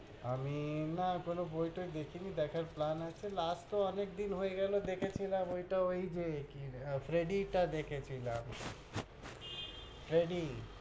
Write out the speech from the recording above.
আমি! না, কোন বই-টই দেখিনি, দেখার plan আছে last তহ অনেকদিন হয়ে গেলো দেখেছিলাম, ওইটা ওই যে, কি ফ্রেডি টা দেখেছিলাম ফ্রেডি,